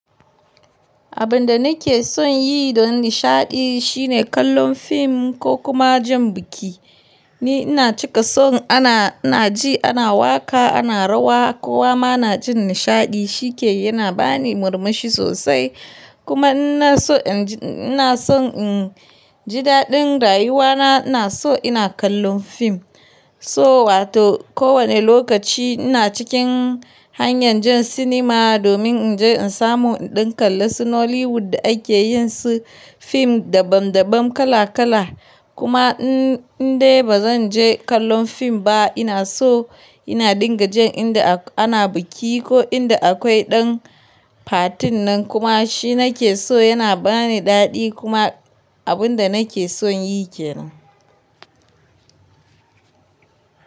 Abin da nake son yi don nishaɗi shine kallon fim ko kuma jan biki. Ni ina cika son ana, ina ji, ana waƙa, ana rawa kowa ma na jin nishaɗi shike yana bani murmushi sosai. Kuma ina so in ji ina son jidaɗin rayuwana ina so ina kallon fim. So wato kowane lokaci ina cikin hanyar jan sinima domin in je in samu ɗan kalla su Nollywood da ake yin su fim dabam dabam kala kala. Kuma in dai ba zan je kallon fim ba ina so ina dinga jan inda ana biki ko inda akwai ɗan fatin nan kuma shi nake so yana bani daɗi kuma abin da nake son yi ke nan.